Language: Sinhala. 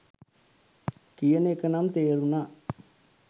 කියන එක නම් තේරුණා.